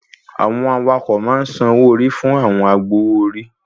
Àwọn awakọ̀ ma ń san owó orí fún àwọn agbowó orí